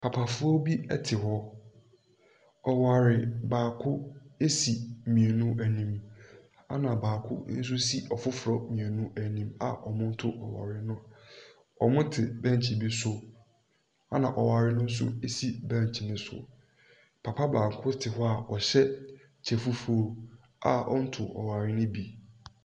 Papafoɔ bi ɛte hɔ. Ɔware baako ɛsi mmienu anim ɛna baako nso ɛsi ɔfoforɔ mmienu anim a wɔn reto ɔware no. Wɔn te bɛnkye bi ɛso ɛna ɔware no nso ɛsi bɛnkye no so. Papa baako te hɔ a ɔhyɛ kyɛ fufuo a ɔntoo ɔware no bi.